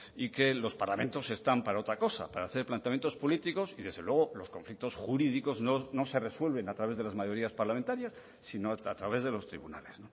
y que los parlamentos están para otra cosa para hacer planteamientos políticos y desde luego los conflictos jurídicos no se resuelven a través de las mayorías parlamentarias sino a través de los tribunales